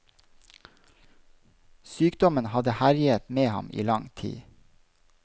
Sykdommen hadde herjet med ham i lang tid.